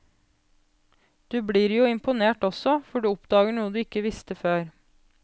Du blir jo imponert også, for du oppdager noe du ikke visste før.